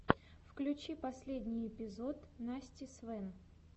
включи последний эпизод насти свэн